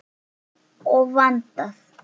Of vandað.